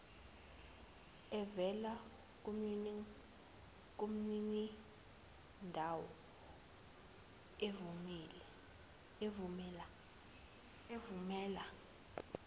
evela kumninindawo evumela